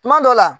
Kuma dɔ la